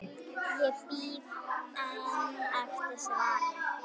Ég bíð enn eftir svari.